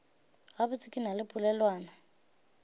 gabotse ke na le polelwana